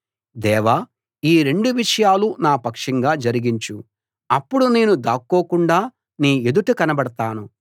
దేవా ఈ రెండు విషయాలు నా పక్షంగా జరిగించు అప్పుడు నేను దాక్కోకుండా నీ ఎదుట కనపడతాను